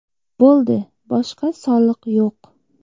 Bo‘ldi, boshqa soliq yo‘q.